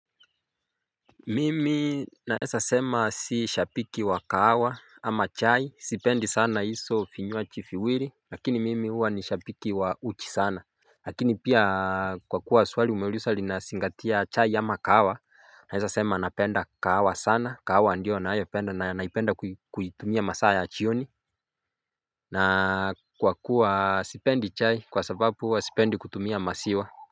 Mimi naeza sema si shabiki wa kahawa ama chai sipendi sana hizo vinywaji viwili lakini mimi huwa ni shabiki wa uji sana. Lakini pia kwa kuwa swali umeuliza linazingatia chai ama kahawa naeza sema napenda kahawa sana kahawa ndio nayopenda na naipenda kuitumia masaa ya jioni. Na kwa kuwa sipendi chai kwa sababu huwa sipendi kutumia maziwa. Kwa hivyo.